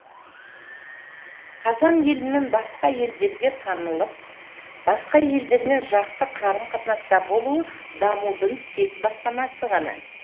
қазақ елінің басқа елдерге танылып басқа елдермен жақсы қарым қатынаста болуы дамудың тек бастамасы ғана